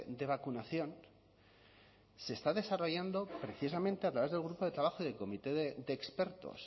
de vacunación se está desarrollando precisamente a través del grupo de trabajo del comité de expertos